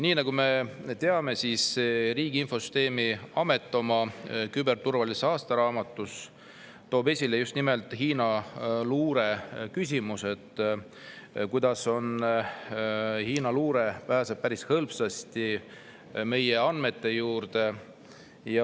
Nagu me teame, Riigi Infosüsteemi Amet toob oma küberturvalisuse aastaraamatus esile just nimelt Hiina luure küsimuse, selle, kuidas Hiina luure pääseb päris hõlpsasti meie andmetele ligi.